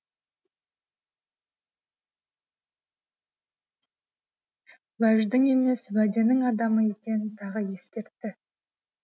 уәждің емес уәденің адамы екенін тағы ескертті